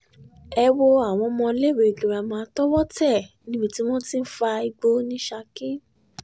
ẹ wo àwọn ọmọọléèwé girama tọwọ́ tẹ̀ níbi tí wọ́n ti ń fa igbó ní saki